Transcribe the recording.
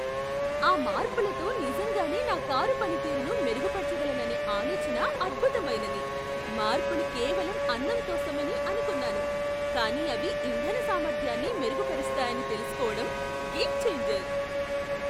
ఆ మార్పులతో నిజంగానే నా కారు పనితీరును మెరుగుపరచగలను అనే ఆలోచన అద్భుతమైనది. మార్పులు కేవలం అందం కోసమని అనుకున్నాను, కానీ అవి ఇంధన సామర్థ్యాన్ని మెరుగుపరుస్తాయని తెలుసుకోవడం గేమ్ ఛేంజర్.